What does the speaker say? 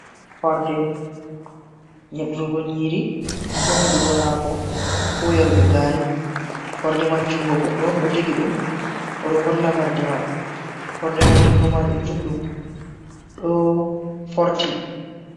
Horde, nyeɗurgo nyiri, ko nyeɗurgo hako, ko yarugo gari. Horde man jungo goɗɗo on ɗo jogi ɗum, o ɗo holla horde man. Horde mai jungo maajum juɗɗum, ɗo forti.